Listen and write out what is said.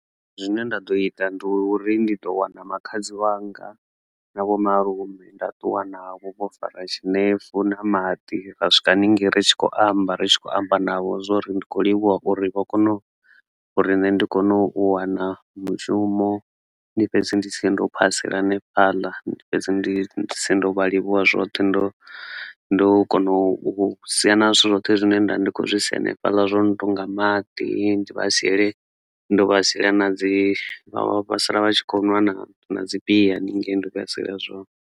Zwine nda ḓo ita ndi uri ndi ḓo wana makhadzi wanga na vho malume nda ṱuwa navho vho fara tshinefu na maḓi ra swika haningei ri tshi khou amba ritshi kho amba navho zwori ndi kho livhuwa uri vha kona uri nṋe ndi kone u wana mushumo ndi fhedze ndi sie ndo phasela hanefhaḽa. Ndi fhedze ndi sie ndo vha livhuwa zwoṱhe ndo ndo kona u sia na zwithu zwoṱhe zwine nda ndi kho zwi si hanefhaḽa zwo no tonga maḓi, ndi vha siele ndo vha hule ndo vha siela na dzi vha siela vha tshi kho nwa na na dzi bia haningei ndo vha siela zwone.